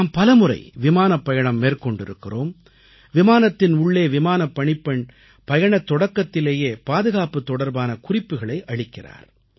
நாம் பலமுறை விமானப்பயணம் மேற்கொண்டிருக்கிறோம் விமானத்தின் உள்ளே விமானப் பணிப்பெண் பயணத் தொடக்கத்திலேயே பாதுகாப்புத் தொடர்பான குறிப்புகளை அளிக்கிறார்